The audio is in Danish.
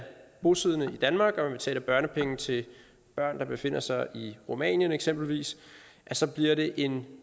bosiddende i danmark og betaler børnepenge til børn der befinder sig i rumænien eksempelvis så bliver det en